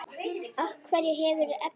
Á hverju hefurðu efni?